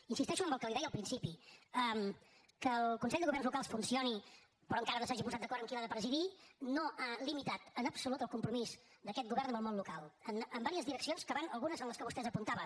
insisteixo en el que li deia al principi que el consell de governs locals funcioni però encara no s’hagi posat d’acord en qui l’ha de presidir no ha limitat en absolut el compromís d’aquest govern amb el món local en diverses direccions que van algunes en les que vostè apuntava